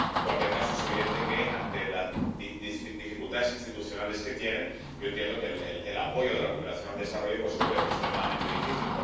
En cualquier caso, es evidente que, ante las dificultades institucionales que tienen, entiendo que el apoyo de la cooperación al desarrollo se vuelve extremadamente difícil.